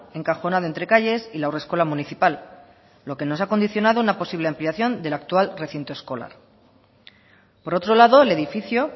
encajonado entre calles y la haurreskola municipal lo que nos ha condicionado una posible ampliación del actual recinto escolar por otro lado el edificio